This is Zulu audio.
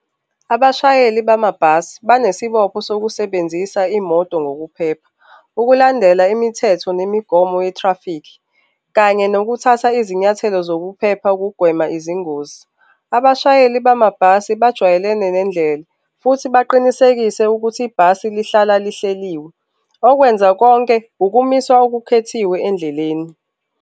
Abashayeli bamabhasi banesibopho sokusebenzisa imoto ngokuphepha, ukulandela imithetho nemigomo ye-traffic kanye nokuthatha izinyathelo zokuphepha ukugwema izingozi. Abashayeli bamabhasi bajwayelene nendlela futhi baqinisekise ukuthi ibhasi lihlala lihleliwe okwenza konke ukumiswa okukhethiwe endleleni.